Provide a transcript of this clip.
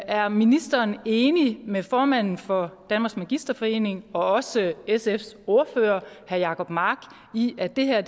er ministeren enig med formanden for dansk magisterforening og også sfs ordfører herre jacob mark i at det her